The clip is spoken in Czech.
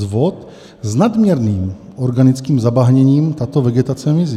Z vod s nadměrným organickým zabahněním tato vegetace mizí.